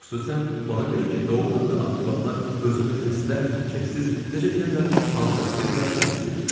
Xüsusan ona görə ki, doğrudan da axırı vaxtlar özümü xəstə, keyfsiz, necə deyərlər, fantastik və sair hiss eləyirəm.